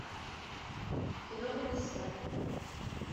кино комиссар